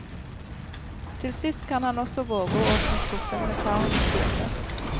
Til sist kan han også våge å åpne skuffen med farens bilde.